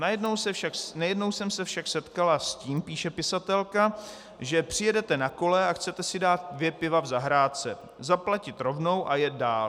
Nejednou jsem se však setkala s tím, píše pisatelka, že přijedete na kole a chcete si dát dvě piva v zahrádce, zaplatit rovnou a jet dál.